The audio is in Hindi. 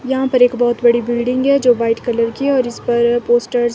यहां पर एक बहोत बड़ी बिल्डिंग है जो वाइट कलर की है और इस पर पोस्टर्स --